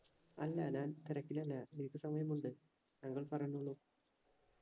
അല്ല ഞാൻ തിരക്കിലല്ല break സമയമുണ്ട് താങ്കൾ പറഞ്ഞോളൂ